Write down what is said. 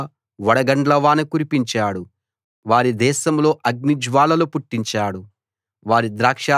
ఆయన వారిమీద వడగండ్ల వాన కురిపించాడు వారి దేశంలో అగ్నిజ్వాలలు పుట్టించాడు